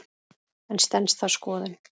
En stenst það skoðun?